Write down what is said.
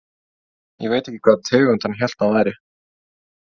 Ég veit ekki hvaða tegund hann hélt hann væri.